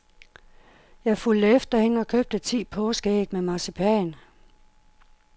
Jeg fulgte efter hende og købte ti påskeæg med marcipan.